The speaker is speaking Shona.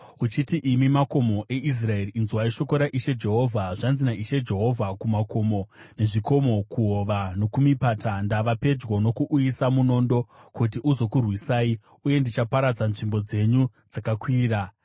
uchiti, ‘Imi makomo eIsraeri, inzwai shoko raIshe Jehovha. Zvanzi naIshe Jehovha kumakomo nezvikomo, kuhova nokumipata: Ndava pedyo nokuuyisa munondo kuti uzokurwisai, uye ndichaparadza nzvimbo dzenyu dzakakwirira.